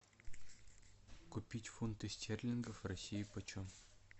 купить фунты стерлингов в россии по чем